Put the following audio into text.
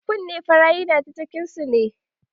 Kunne fara yana ta cikin su ne